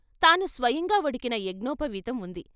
తాను స్వయంగా వడికిన యజ్ఞోపవీతం ఉంది.